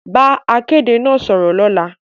Bá akéde náà sọ̀rọ̀ lọ́la